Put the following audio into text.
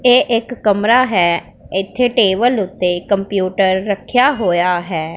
ਇਹ ਇੱਕ ਕਮਰਾ ਹੈ ਇੱਥੇ ਟੇਬਲ ਓੱਤੇ ਕੰਪਿਊਟਰ ਰੱਖਿਆ ਹੋਇਆ ਹੈ।